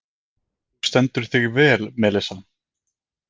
Þú stendur þig vel, Melissa!